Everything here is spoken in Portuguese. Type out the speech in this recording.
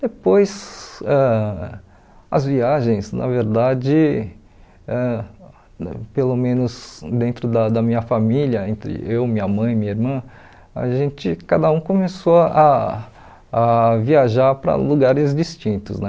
Depois, ãh as viagens, na verdade, ãh pelo menos dentro da da minha família, entre eu, minha mãe e minha irmã, a gente cada um começou a a viajar para lugares distintos, né?